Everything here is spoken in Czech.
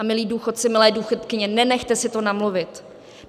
A milí důchodci, milé důchodkyně, nenechte si to namluvit.